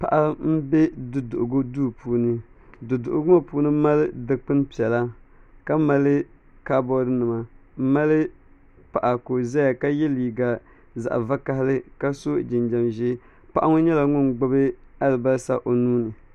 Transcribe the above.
paɣa m-be du'duhigu duu puuni du'duhigu ŋɔ puuni mali dikpini piɛla ka mali kabɔɔrinima m mali paɣa ka o zaya ka ye liiga zaɣ'vakahili ka so jinjam ʒee paɣa ŋɔ nyɛla ŋun gbubi alibalisa o nuu ni